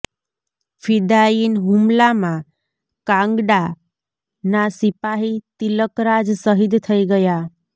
ફિદાયીન હુમલા માં કાંગડા ના સિપાહી તિલકરાજ શહીદ થઇ ગયા